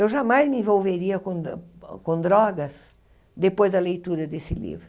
Eu jamais me envolveria com do com drogas depois da leitura desse livro.